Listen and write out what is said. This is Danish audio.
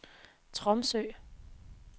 Tromsø